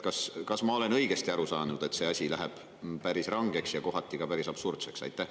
Kas ma olen õigesti aru saanud, et see asi läheb päris rangeks ja kohati ka päris absurdseks?